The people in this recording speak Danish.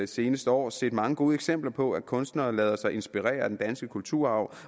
seneste år set mange gode eksempler på at kunstnere lader sig inspirere af den danske kulturarv